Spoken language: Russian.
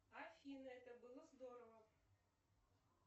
афина это было здорово